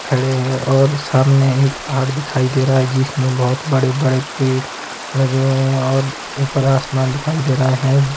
खड़े हैं और सामने एक पहाड़ दिखाई दे रहा है जिसमें बहोत बड़े बड़े पेड़ लगे हुए हैं और ऊपर आसमान दिखाई दे रहा है।